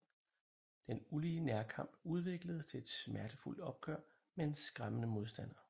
Den ulige nærkamp udvikles til et smertefuldt opgør med en skræmmende modstander